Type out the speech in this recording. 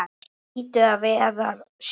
Hún hlýtur að velja sjóinn.